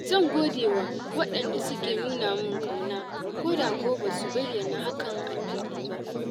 Zan gode wa wadanda suke nuna min kauna koda kuwa ba su bayyana hakan a fili ba.